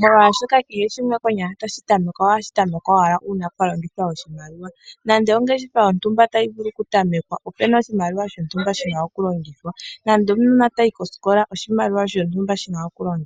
molwashoka kehe shimwe konyala ohashi ta mekwa oshitamekwa uuna kwalongithwa oshimaliwa nando ongeshefa yontumba tayi vulu okutamekwa opena oshimaliwa shontumba shina okulongithwa nando omunona tayi koskola oshimaliwa shontumba shina okulongithwa.